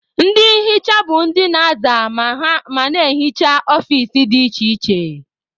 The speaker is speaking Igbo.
Ndị nhicha bụ ndị na-aza ma na-ehicha ọfici dị iche iche.